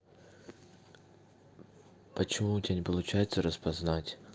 почему у тебя не получается распознать